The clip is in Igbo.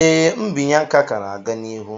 Ee, mbinye aka ka na-aga n'ihu